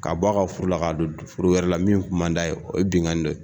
Ka bɔ ka furu la , ka na don furu wɛrɛ la min kun man d'a ye. O ye binkan ni dɔ ye.